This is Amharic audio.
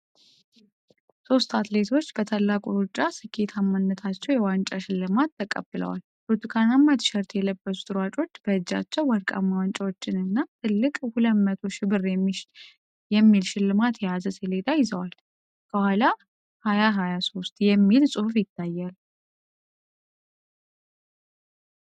ሶስት አትሌቶች በታላቁ ሩጫ ስኬታማነታቸው የዋንጫ ሽልማት ተቀብለዋል። ብርቱካናማ ቲሸርት የለበሱት ሯጮች በእጃቸው ወርቃማ ዋንጫዎችን እና ትልቅ 200,000 ብር የሚል ሽልማት የያዘ ሰሌዳ ይዘዋል። ከኋላ '2023 GREAT ETHIOPIAN RUN' የሚል ጽሑፍ ይታያል።